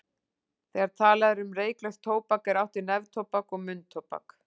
Þegar talað er um reyklaust tóbak er átt við neftóbak og munntóbak.